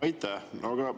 Aitäh!